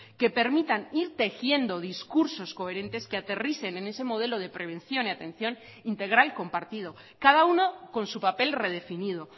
que permitan ir tejiendo discursos coherentes que aterricen en ese modelo de prevención y atención integral compartido cada uno con su papel redefinido